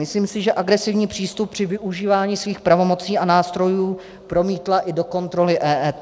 Myslím si, že agresivní přístup při využívání svých pravomocí a nástrojů promítla i do kontroly EET.